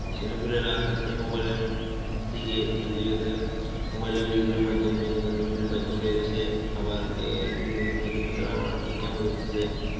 ছেলেপুলে আস্তে আস্তে mobile এর উম দিকে ঢুকে গেছে, mobile এ বিভিন্ন মাইধ্যম বিনোদনের বিভিন্ন মাইধ্যম বেরোইছে, আবার এই বিনোদনের মাইধ্যমে তারা আবার income করতেছে,